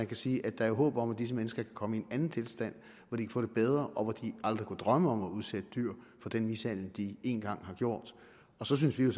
kan sige at der er håb om at disse mennesker kan komme i en anden tilstand hvor de kan få det bedre og hvor de aldrig kunne drømme om at udsætte dyr for den mishandling de en gang har gjort og så synes vi jo